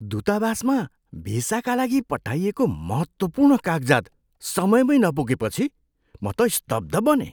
दूतावासमा भिसाका लागि पठाइएको महत्त्वपूर्ण कागजात समयमै नपुगेपछि म त स्तब्ध बनेँ।